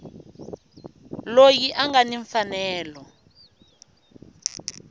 loyi a nga ni mfanelo